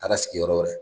Taara sigi yɔrɔ wɛrɛ